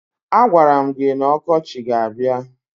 A gwara m gị na ọkọchị ga-abia